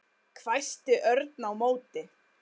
hvæsti Örn á móti.